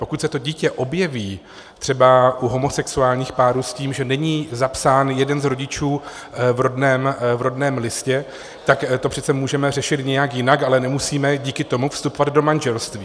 Pokud se to dítě objeví třeba u homosexuálních párů s tím, že není zapsán jeden z rodičů v rodném listě, tak to přece můžeme řešit nějak jinak, ale nemusíme díky tomu vstupovat do manželství.